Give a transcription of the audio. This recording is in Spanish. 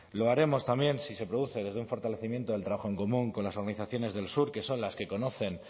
lo haremos también si se produce desde un fortalecimiento del trabajo en común con las organizaciones del sur que son las que conocen